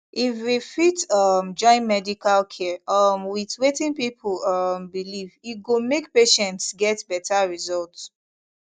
if we fit um join medical care um with wetin people um believe e go make patients get better result